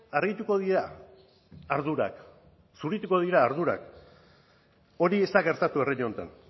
argituko dira ardurak zurituko dira ardurak hori ez da gertatu herri honetan